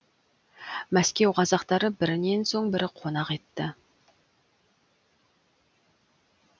мәскеу қазақтары бірінен соң бірі қонақ етті